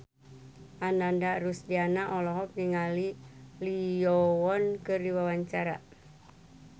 Ananda Rusdiana olohok ningali Lee Yo Won keur diwawancara